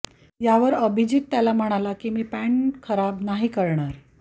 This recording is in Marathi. यावर अभिजीत त्याला म्हणाला की मी पॅन्ट खराब नाही करणार